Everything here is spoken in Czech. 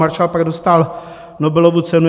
Marshall pak dostal Nobelovu cenu.